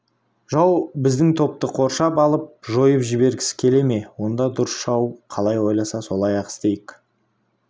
жау біздің топты қоршап алып жойып жібергісі келе ме онда дұрыс жау қалай ойласа солай-ақ істейік